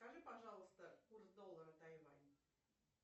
скажи пожалуйста курс доллара тайвань